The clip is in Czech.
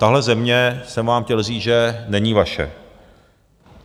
Tahle země, jsem vám chtěl říct, není vaše.